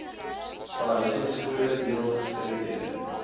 behuisingkode deel gestremdhede